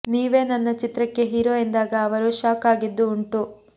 ನೀವೇ ನನ್ನ ಚಿತ್ರಕ್ಕೆ ಹೀರೊ ಎಂದಾಗ ಅವರು ಶಾಕ್ ಆಗಿದ್ದೂ ಉಂಟು